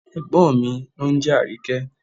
Ègbón mí ni ónjẹ́ Àríkẹ́